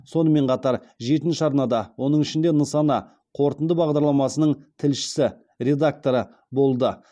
сонымен қатар жетінші арнада оның ішінде нысана қорытынды бағдарламасының тілшісі редакторы болды